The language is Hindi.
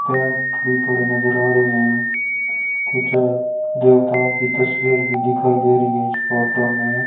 पेंट भी पड़े नजर आ रहे है कुछ देवताओं की तस्वीर भी दिखाई दे रही है इस फोटो में।